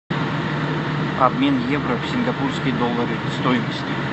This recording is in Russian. обмен евро в сингапурские доллары стоимость